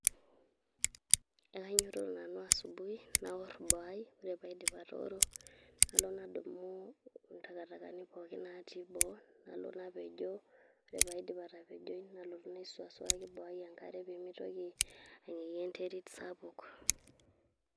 Ekanyototo nanu asubuhi, naor boo ai. Ore paidip atooro, nalo nadumu intakatakani pookin natii boo, nalo napejoo, ore paidip atapejoi, nalotu naisuakisuaki boo ai enkare pemeitoki ayee enterit sapuk.